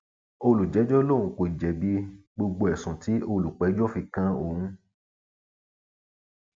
olùjẹjọ lòun kò jẹbi gbogbo ẹsùn tí olùpẹjọ fi kan òun